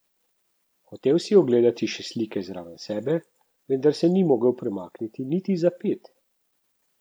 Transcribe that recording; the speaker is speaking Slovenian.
Hotel si je ogledati še slike zraven sebe, vendar se ni mogel premakniti niti za ped.